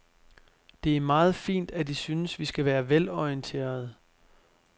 Det er meget fint, at I synes, vi skal være velorienterede.